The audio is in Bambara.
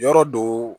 Yɔrɔ do